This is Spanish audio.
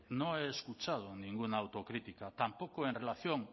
no he escuchado ninguna autocrítica tampoco en relación